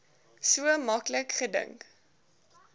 so maklik gedink